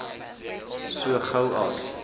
so gou as